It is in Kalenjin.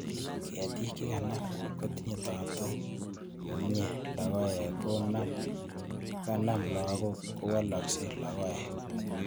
Ketik chekanam kotinye taptok komyie logoek kocon kanam kokanam kolok kowolkose logoek